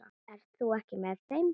Ert þú ekki með þeim?